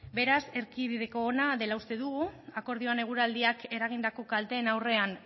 beraz erdibideko ona dela uste dugu akordioan eguraldiak eragindako kalteen aurrean